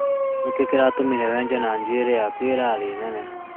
Nĩkĩĩ kĩratũmire wenje na njuĩrĩ yaku ĩrarĩ nene